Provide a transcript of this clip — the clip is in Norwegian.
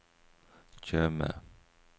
Tjøme